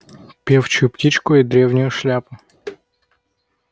певчую птичку и древнюю шляпу